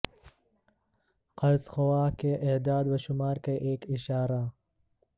قرض خواہ کے اعداد و شمار کے ایک اشارہ